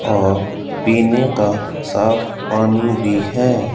और पीने का साफ पानी भी है।